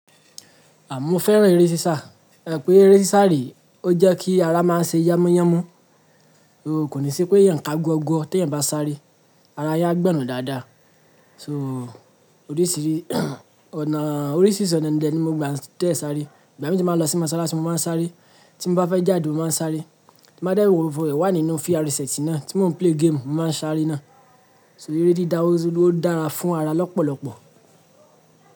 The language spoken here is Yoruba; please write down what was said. À moferan eré sísá. Ẹ̀ pé eré sísá rè ọ jẹ́ kí ara máa ṣe yámúyámú. O kò ní sí péyàn ká guọ̀gọ̀ọ̀ teyan bá sáre. Ara yin a gbọ̀nnu dáadáa. So oríṣírí ọ̀nà, oríṣìrisi ọ̀nà de ní mo gba de sáre. Ìgbàmi ba lọ sí mọ́sálásí mọ máa ń sáre. Tí bá fẹ́ jáde mọ máa ń sáre ti mo bá dé wo nínú fíràrẹ́sẹ̀tì náà tí mọ ń play game mọ máa ń sáre náà. So eré dídáwó ó dára fún ara lọ́pọ̀lọ́pọ̀.